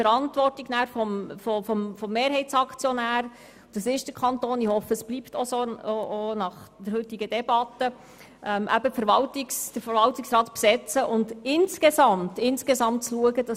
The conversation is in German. Weil der Kanton Mehrheitsaktionär ist, liegt es vielmehr in seiner Verantwortung, den Verwaltungsrat zu besetzen und dafür zu sorgen, dass er insgesamt ausgewogen ist.